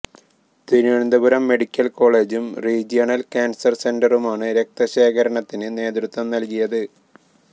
Thiruvananthapuram medical കോളജും regional cancer സെന്ററുമാണ് രക്തശേഖരണത്തിന് നേതൃത്വം നല്കിയത്